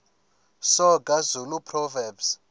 soga zulu proverbs